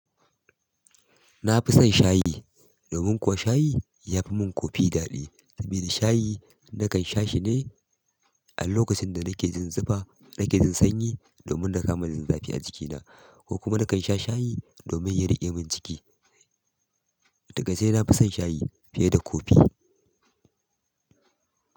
Nafi son shayi, domin kuwa shayi, yafi min koffe daɗi domin shayi nakan sha shi dai, a lokacin da nake jin zufa, nake jin sanyi, domin na kama jin zafi a jikina. Ko kuma nakan sha shayi domin ya riƙe min ciki. Da gaske nafi son shayi fiye da koffe.